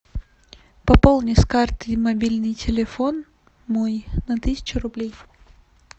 пополни с карты мобильный телефон мой на тысячу рублей